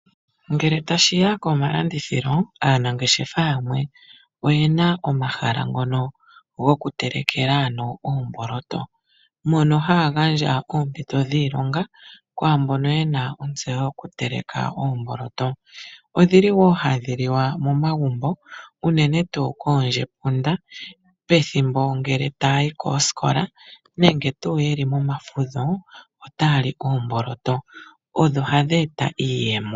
Ngele tashi ya komalandithilo, aanangeshefa yamwe oye na omahala ngono gokutelekela oomboloto, mono haya gandja oompito dhiilonga kwaa mbono ye na ontseyo yokuteleka oomboloto. Ohadhi liwa wo momagumbo unene koondjepunda pethimbo lyokuya koosikola, nenge ye li momavudho otaa li oomboloto. Odho hadhi eta iiyemo.